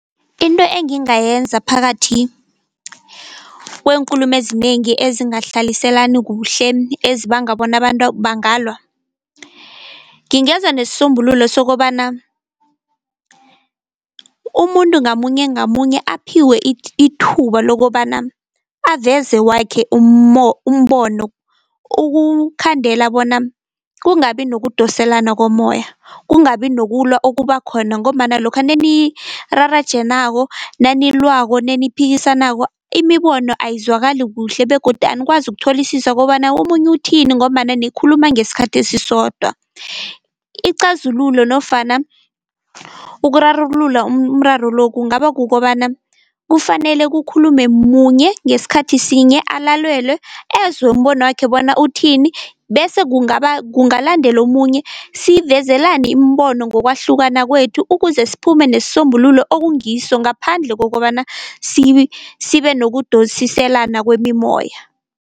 Into engingayenza phakathi kweenkulumo ezinengi ezingahlaliselani kuhle ezibanga bona abantu bangalwa. Ngingeza nesisombululo sokobana umuntu ngamunye ngamunye aphiwe ithuba lokobana aveze wakhe umbono, ukukhandela bona kungabi nokudoselana komoya kungabi nokulwa okuba khona, ngombana lokha nenirarajenako, nanilwako, neniphikisanako imibono ayizwakali kuhle begodu anikwazi ukutholisisa kobana omunye uthini, ngombana nikhuluma ngesikhathi esisodwa. Icazululo nofana ukurarulula umraro lo kungaba kukobana kufanele kukhulume munye ngesikhathi sinye, alalelwe ezwe umbono wakhe uthini bese kungaba kungalandela omunye sivezelane imibono ngokwahlukana kwethu, ukuze siphume nesisombululo ekungiso ngaphandle kokobana sibe nokudosiselana kwemimoya.